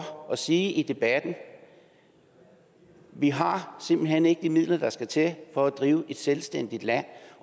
og sige i debatten vi har simpelt hen ikke de midler der skal til for at drive et selvstændigt land